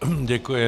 Děkuji.